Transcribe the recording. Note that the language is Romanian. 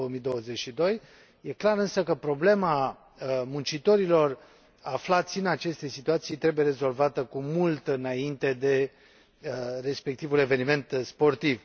2022. E clar, însă, că problema muncitorilor aflați în aceste situații trebuie rezolvată cu mult înainte de respectivul eveniment sportiv.